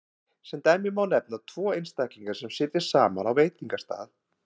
Sem dæmi má nefna tvo einstaklinga sem sitja saman á veitingastað.